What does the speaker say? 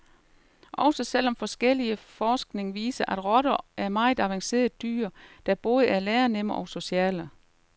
Også selv om forskellig forskning viser, at rotter er meget avancerede dyr, der både er lærenemme og sociale.